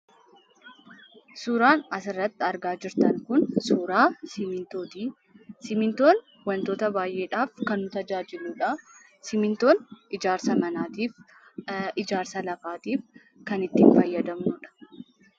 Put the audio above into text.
Suuraan asirrati argaa jirtan kun, suuraa simmiintooti. Simmiintoon wantoota baay'eedhaaf kan nu tajaajiludha. Simmintoon ijaarsa manaatiif, ijaarsa lafaatiif kan itti fayyadamnuudha.